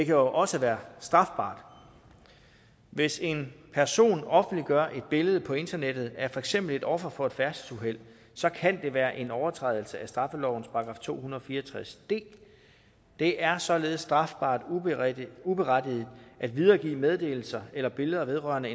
jo også være strafbart hvis en person offentliggør et billede på internettet af for eksempel et offer for et færdselsuheld så kan det være en overtrædelse af straffelovens § to hundrede og fire og tres d det er således strafbart uberettiget uberettiget at videregive meddelelser eller billeder vedrørende